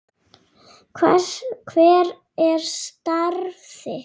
Hver er starf þitt?